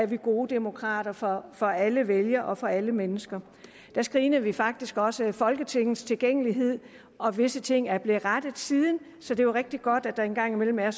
vi er gode demokrater for for alle vælgere og for alle mennesker der screenede vi faktisk også folketingets tilgængelighed og visse ting er blevet rettet siden så det er rigtig godt at der en gang imellem er